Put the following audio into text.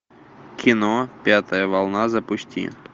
кино пятая волна запусти